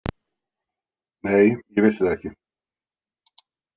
Nei, ég vissi það ekki.